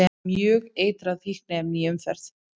Mjög eitrað fíkniefni í umferð